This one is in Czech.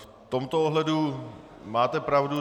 V tomto ohledu máte pravdu.